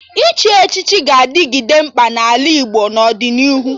Ịchị echichi ga-adịgide mkpa n'ala Igbo n'ọdịnihu